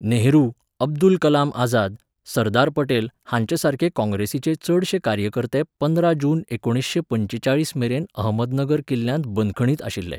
नेहरू, अब्दुल कलाम आझाद, सरदार पटेल हांचेसारके काँग्रेसीचे चडशे कार्यकर्ते पंद्रा जून एकुणिसशें पंचेचाळीसमेरेन अहमदनगर किल्ल्यांत बंदखणींत आशिल्ले.